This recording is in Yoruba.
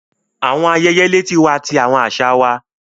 Awọn ayẹyẹ leti wa ti awọn aṣa wa